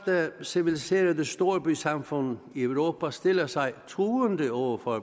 civiliserede storbysamfund i europa stiller sig truende over for